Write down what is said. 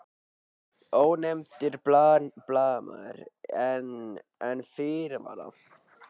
Ónefndur blaðamaður: En, en fyrirvara?